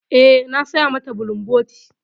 Eh, na saya mata bulumboti.